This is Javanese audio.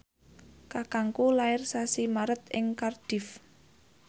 kakangku lair sasi Maret ing Cardiff